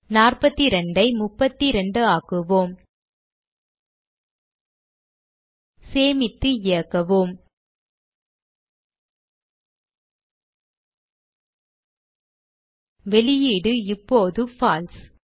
42 ஐ 32 ஆக்குவோம் சேமித்து இயக்குவோம் வெளியீடு இப்போது பால்சே